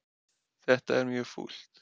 Þetta er mjög fúlt